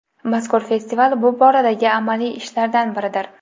Mazkur festival bu boradagi amaliy ishlardan biridir.